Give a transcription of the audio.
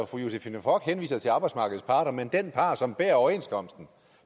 fru josephine fock henviser til arbejdsmarkedets parter men den part som bærer overenskomsten